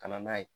Ka na n'a ye